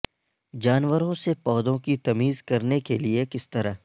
جانوروں سے پودوں کی تمیز کرنے کے لئے کس طرح